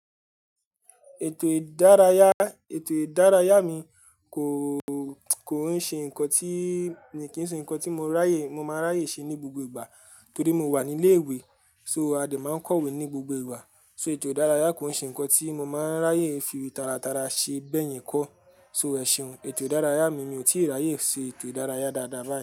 Ètò ìdárayá, ètò ìdárayá mi kò, kò nṣe ńkan tí, kì í ṣe ńkan tí mo ráyè, mo máa nráyè ṣe ní gbogbo ìgbà torí mo wà ní ilé ìwé. So a dè máa ń kọ̀wé ní gbogbo ìwà. So ètò ìdárayá kò ń ṣe ńkan tí mo máa ń ráyè fi tara tara ṣe bẹ́yìn kọ́. So ẹ̀ṣùn ètò ìdárayá mi mi ò tíì ráyè ṣe ètò ìdárayá dáadáa báyìí.